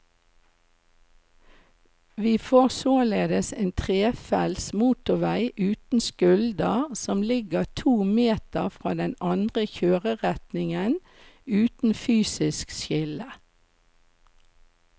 Vi får således en trefelts motorvei uten skulder som ligger to meter fra den andre kjøreretningen, uten fysisk skille.